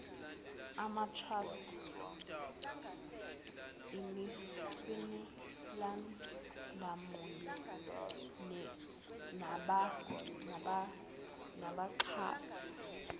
amatrust imifelandawonye nabaxhasi